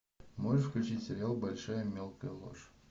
можешь включить сериал большая мелкая ложь